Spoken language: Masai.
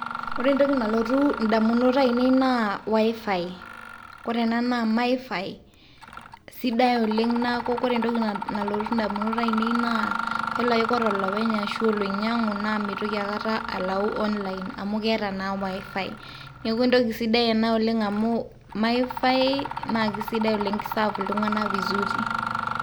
ore entoki nalotu indamunot ainei naa wifi. ore ena naa mifi sidai oleng niaku ore entoki nalotu indamunot ainei naa kayiol ake ajo ore olopeny ashu oloinyangu meitoki aikata alau online amu keeta naa wifi . niaku entoki sidai ena amu mifi naa kisidai oleng ki serve iltunganak vizuri